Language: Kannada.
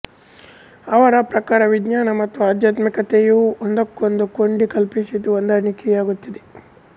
ಅವರ ಪ್ರಕಾರವಿಜ್ಞಾನ ಮತ್ತು ಆಧ್ಮಾತ್ಮಿಕತೆಯು ಒಂದಕ್ಕೊಂದು ಕೊಂಡಿ ಕಲ್ಪಿಸಿದ್ದು ಹೊಂದಿಕೆಯಾಗುತ್ತದೆ